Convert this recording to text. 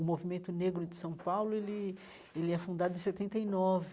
O Movimento Negro de São Paulo ele ele é fundado em setenta e nove.